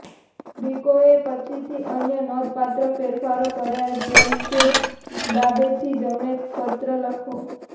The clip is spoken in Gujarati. ગ્રીકોએ પછીથી અન્ય નોંધપાત્ર ફેરફારો કર્યા જેમ કે ડાબેથી જમણે પત્ર લખવો